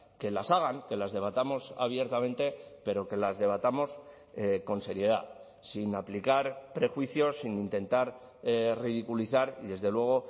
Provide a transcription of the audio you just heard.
que las hagan que las debatamos abiertamente pero que las debatamos con seriedad sin aplicar prejuicios sin intentar ridiculizar y desde luego